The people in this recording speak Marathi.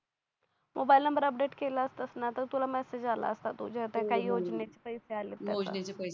मोबाईल नंबर अपडेट केला असतास ना तर तुला मेसेज आला असता तुझ्या आता काही योजने चे पैसे आलेत त्याचा